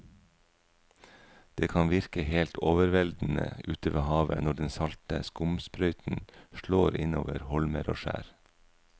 Det kan virke helt overveldende ute ved havet når den salte skumsprøyten slår innover holmer og skjær.